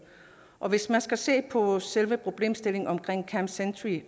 og hvis man skal se på selve problemstillingen omkring camp century